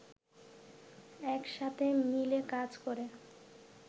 একসাথে মিলে কাজ করে